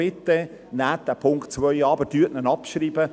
Bitte nehmen Sie den Punkt 2 an, aber schreiben Sie ihn ab.